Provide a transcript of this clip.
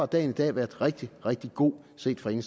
dagen i dag været rigtig rigtig god set fra